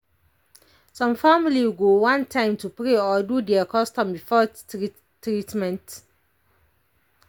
some family go want time to pray or do their custom before treatment.